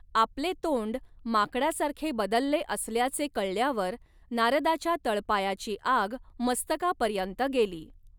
आपले तोंड माकडासारखे बदलले असल्याचे कळल्यावर नारदाच्या तळपायाची आग मस्तकापर्यंत गेली.